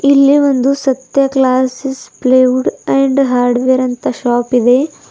ಇಲ್ಲಿ ಒಂದು Satya glasses plywood and hardware ಅಂತ ಶಾಪ್ ಇದೆ.